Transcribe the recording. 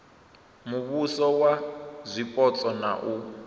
muvhuso wa zwipotso na u